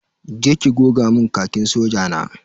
Je ki ki goga mun Khakin soja na.